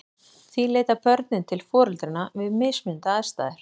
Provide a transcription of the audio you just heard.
Því leita börnin til foreldranna við mismunandi aðstæður.